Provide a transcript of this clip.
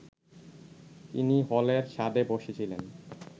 তিনি হলের ছাদে বসেছিলেন